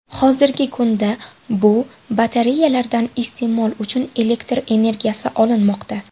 Hozirgi kunda bu batareyalardan iste’mol uchun elektr energiyasi olinmoqda.